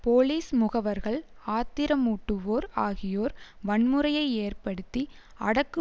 police முகவர்கள் ஆத்திரமூட்டுவோர் ஆகியோர் வன்முறையை ஏற்படுத்தி அடக்கு